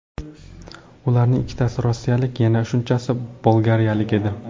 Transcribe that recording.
Ularning ikkitasi rossiyalik, yana shunchasi bolgariyalik edi.